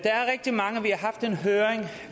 høring